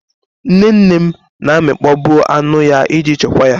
Nnenne m na amịkpọ bụ anụ ya iji chekwa ya.